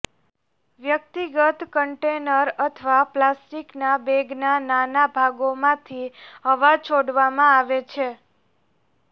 વ્યક્તિગત કન્ટેનર અથવા પ્લાસ્ટિકના બેગના નાના ભાગોમાંથી હવા છોડવામાં આવે છે